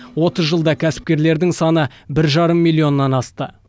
отыз жылда кәсіпкерлердің саны бір жарым миллионнан асты